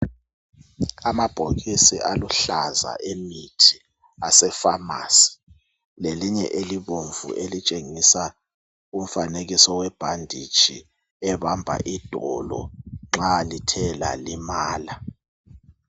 Amabhokisi aluhlaza emithi ase"pharmacy",lelinye elibomvu elitshengisa umfanekiso webhanditshi ebamba idolo nxa lithe lalimala.